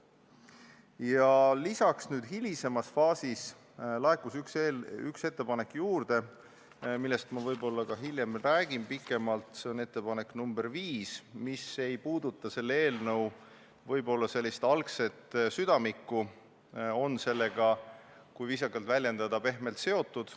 Hilisemas faasis laekus üks ettepanek veel, millest ma räägin hiljem võib-olla pikemalt, see on ettepanek nr 5, mis ei puuduta selle eelnõu sellist algset südamikku, vaid on sellega, kui viisakalt väljenduda, üksnes pehmelt seotud.